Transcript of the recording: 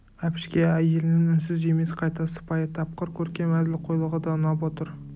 әбішке әйелінің үнсіз емес қайта сыпайы тапқыр көркем әзілқойлығы да ұнап отыр